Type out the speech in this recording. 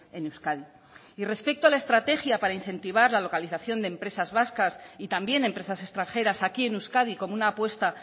en euskadi y respecto a la estrategia para incentivar la localización de empresas vascas y también empresas extranjeras aquí en euskadi como una apuesta